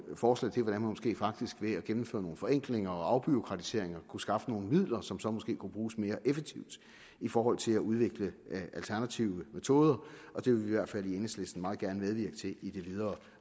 forslag til hvordan man måske faktisk ved at gennemføre nogle forenklinger og afbureaukratiseringer kunne skaffe nogle midler som så måske kunne bruges mere effektivt i forhold til at udvikle alternative metoder det vil vi i hvert fald i enhedslisten meget gerne medvirke til i det videre